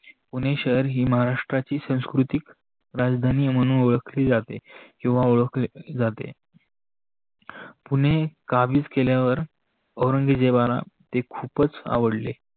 पुणे शहर ही महाराष्ट्राची संकृतिक राजधानी म्णून ओळखली जाते, किवा ओळखले जाते. पुणे काबित केल्यावर औरंगजेबाला हे खूपच आवडले.